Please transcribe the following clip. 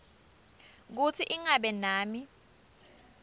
kutsi ingabe nami